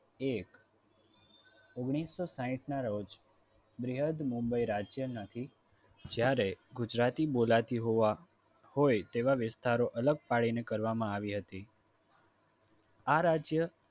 એક ઓગણીસો સાહિઠ ના રોજ બૃહદ મુંબઇ રાજ્ય માંથી જ્યારે ગુજરાતી બોલાતી હોવા હોય તેવા વિસ્તારો અલગ પાડીને કરવામાં આવી હતી આ રાજ્ય